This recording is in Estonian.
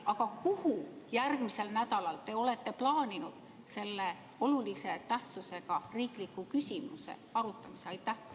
Aga kuhu järgmisel nädalal te olete plaaninud selle olulise tähtsusega riikliku küsimuse arutamise?